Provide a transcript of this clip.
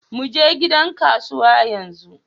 Muje gidan kasuwa yanzu.